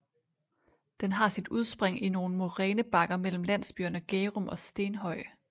Den har sit udspring i nogle morænebakker mellem landsbyerne gærum og stenhøj